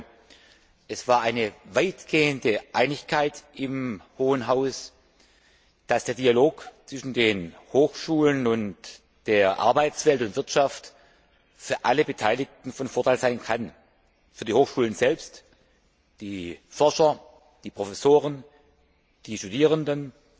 Ich glaube, es bestand weitgehend Einigkeit im Hohen Haus, dass der Dialog zwischen den Hochschulen und der Arbeitswelt und Wirtschaft für alle Beteiligten von Vorteil sein kann, für die Hochschulen selbst, die Forscher, die Professoren, die Studierenden,